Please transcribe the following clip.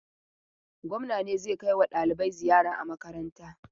Gwamna ne zai kai wa ɗalibai ziyara a makaranta.